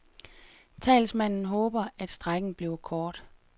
Talsmanden håber, at strejken bliver kort.